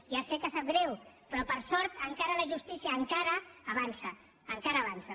ja sé que sap greu però per sort la justícia encara avança encara avança